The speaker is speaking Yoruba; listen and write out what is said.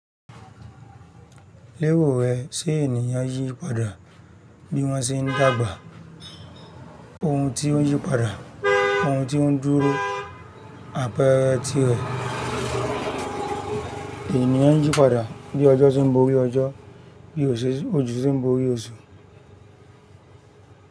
Le ro rẹ, ṣé ènìyàn yípadà bí wọ́n ṣe ń dàgbà? Ohun tí ó yípadà, ohun tí ó ń dúró, àpẹẹrẹ tirẹ̀, ènìyàn yípadà bí ọjọ́ ti ń borí ọjọ́, bí òṣù se ń borí oṣù.